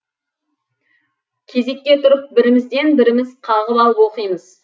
кезекке тұрып бірімізден біріміз қағып алып оқимыз